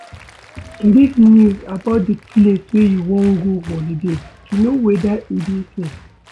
Read news about di place wey you wan go holiday to know weda e dey safe